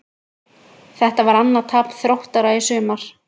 Þetta var annað tap Þróttara í sumar.